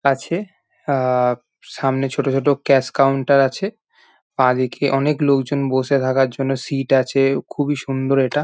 আছে আ সামনে ছোট ছোট ক্যাশ কাউন্টার আছে। বাঁদিকে অনেক লোকজন বসে থাকার জন্য সিট আছে খুব এ সুন্দর এটা।